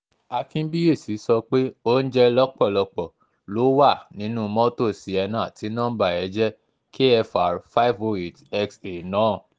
akínbíyèsí sọ pé oúnjẹ lápólàpọ̀ ló wà nínú mọ́tò sienna tí nọmba ẹ̀ jẹ́ kfr five oh eight xa náà